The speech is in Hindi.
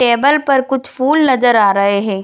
टेबल पर कुछ फुल नजर आ रहे है।